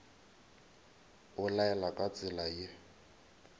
o laela ka tsela ye